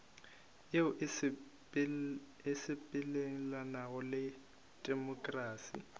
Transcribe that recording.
yeo e sepelelanago le temokrasi